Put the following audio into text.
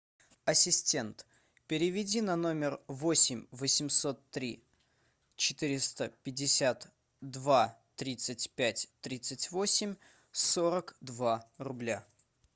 ассистент переведи на номер восемь восемьсот три четыреста пятьдесят два тридцать пять тридцать восемь сорок два рубля